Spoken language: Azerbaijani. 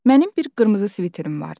Mənim bir qırmızı sviterim vardı.